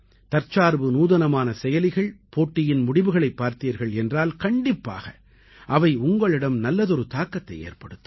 தற்சார்பு நூதனமான செயலிகள் போட்டியின் முடிவுகளைப் பார்த்தீர்கள் என்றால் கண்டிப்பாக அவை உங்களிடம் நல்லதொரு தாக்கத்தை ஏற்படுத்தும்